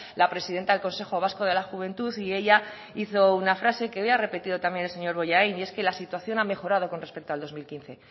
la presidenta del consejo vasco de la juventud y ella hizo una frase que hoy ha repetido también el señor bollain y es que la situación ha mejorado con respecto al dos mil quince